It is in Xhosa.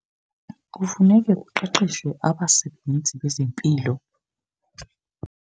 Kufuneka kuqeqeshwe abasebenzi bezempilo.